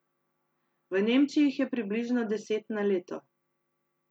V Nemčiji jih je približno deset na leto.